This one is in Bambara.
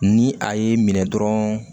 Ni a ye minɛ dɔrɔn